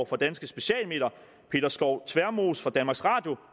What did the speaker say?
fra danske specialmedier peter skov tvermoes fra danmarks radio